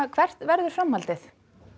hvert verður framhaldið